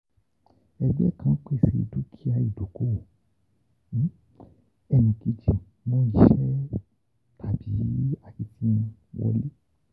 Ẹgbẹ kan pese dukia idokowo; enikeji mu ise tabi akitiyan wole.